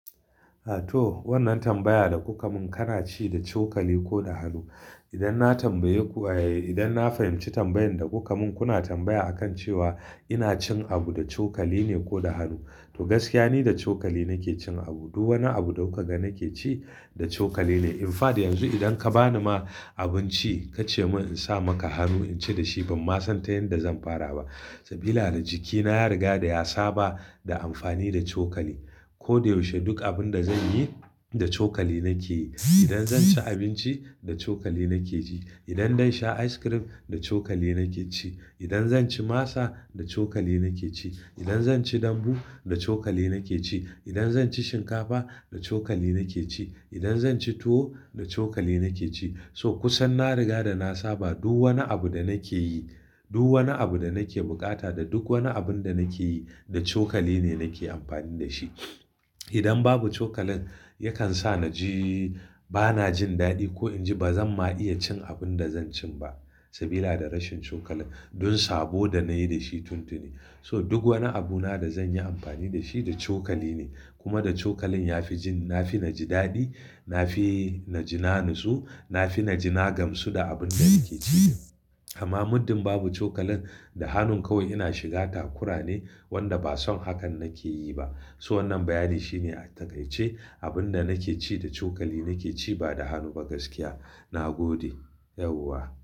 A to wannan tambaya da kuka mun kana ci da cokali ko da hannu? Idan na tambaye ku, eh idan na fahimci tambayan da kuka mun kuna tambaya akan cewa ina cin abu da cokali ne ko da hannu. To gaskiya ni da cokali nake cin abu. Duk wani abu da kuka ga nake ci da cokali ne. In fact yanzu idan ka bani ma abinci kace mun in sa maka hannu in ci dashi ban ma san ta yanda zan fara ba. Sabila da jikina ya riga da ya saba da amfani da cokali. Ko da yaushe duk abin da zanyi da cokali nake yi. Idan zan ci abinci da cokali nake ji. Idan zan sha ice cream da cokali nake ci. Idan zan ci masa da cokali nake ci. Idan zan ci dambu da cokali nake ci. Idan zan ci shinkafa da cokali nake ci. Idan zan ci tuwo da cokali nake ci. So kusan na riga da na saba duk wani abu da nake yi, duk wani abu da nake bukata da duk wani abun da nake yi da cokali ne nake amfani da shi. Idan babu cokalin yakan sa na ji bana jin daɗi ko in ji ba zan ma iya cin abun da zan cin ba. Sabila da rashin cokalin don sabo da nayi da shi tuntuni. So duk wani abu na da zan yi amfani da shi da cokali ne. Kuma da cokalin ya fi jin na fi na ji daɗi, na fi na ji na nutsu, na fi na ji nagamsu da abun da nake ci. Amma muddin babu cokalin da hannun kawai ina shiga takura ne, wanda ba son hakan nake yi ba. So wannan bayani shine a taƙaice abun da nake ci da cokali nake ci ba da hannu ba gaskiya. Na gode yauwa.